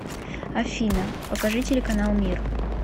афина покажи телеканал мир